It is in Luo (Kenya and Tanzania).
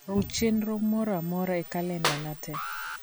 ruch chenro moro amaora e kalendana te